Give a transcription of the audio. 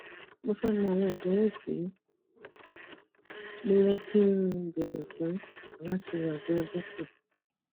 mo fé mọ àwọn ìdánwò ti mo yẹ kí n béèrè fún láti ọdọ dr